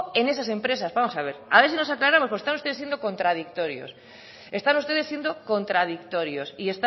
en esas empresas vamos a ver a ver si nos aclaramos porque están ustedes siendo contradictorios están ustedes siendo contradictorios y